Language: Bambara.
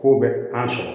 K'o bɛ an sɔrɔ